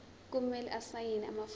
kumele asayine amafomu